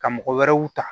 Ka mɔgɔ wɛrɛw ta